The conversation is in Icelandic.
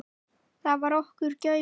Það var okkar gæfa.